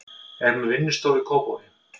Er með vinnustofu í Kópavogi.